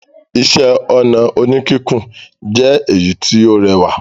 Iṣẹ́-ọnà oníkíkùn jẹ èyí tí ó rẹwà.